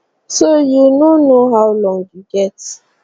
so you no know how long you get